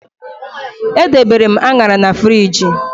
Edebere m Añara na friji